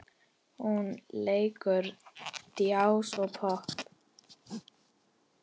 Hún leikur djass og popp.